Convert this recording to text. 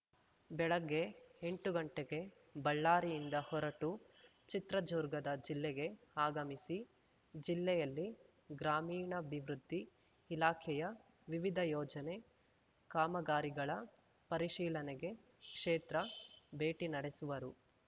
ಬೆಳಗ್ಗೆ ಎಂಟು ಗಂಟೆಗೆ ಬಳ್ಳಾರಿಯಿಂದ ಹೊರಟು ಚಿತ್ರಜುರ್ಗದ ಜಿಲ್ಲೆಗೆ ಆಗಮಿಸಿ ಜಿಲ್ಲೆಯಲ್ಲಿ ಗ್ರಾಮೀಣಾಭಿವೃದ್ಧಿ ಇಲಾಖೆಯ ವಿವಿಧ ಯೋಜನೆ ಕಾಮಗಾರಿಗಳ ಪರಿಶೀಲನೆಗೆ ಕ್ಷೇತ್ರ ಭೇಟಿ ನಡೆಸುವರು